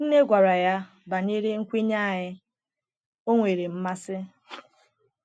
Nne gwara ya banyere nkwenye anyị, ọ nwere mmasị.